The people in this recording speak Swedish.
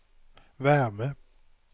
värme